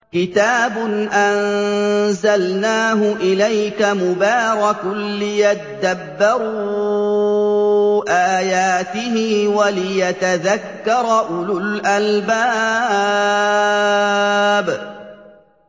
كِتَابٌ أَنزَلْنَاهُ إِلَيْكَ مُبَارَكٌ لِّيَدَّبَّرُوا آيَاتِهِ وَلِيَتَذَكَّرَ أُولُو الْأَلْبَابِ